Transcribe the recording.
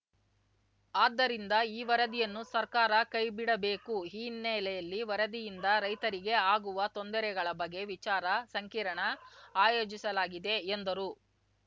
ಆದ್ದರಿಂದ ಈ ವರದಿಯನ್ನು ಸರ್ಕಾರ ಕೈಬಿಡಬೇಕು ಈ ಹಿನ್ನೆಲೆಯಲ್ಲಿ ವರದಿಯಿಂದ ರೈತರಿಗೆ ಆಗವ ತೊಂದರೆಗಳ ಬಗ್ಗೆ ವಿಚಾರ ಸಂಕಿರಣ ಆಯೋಜಿಸಲಾಗಿದೆ ಎಂದರು